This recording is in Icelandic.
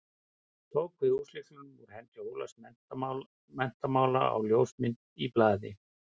Tók við húslyklunum úr hendi Ólafs menntamála á ljósmynd í blaði.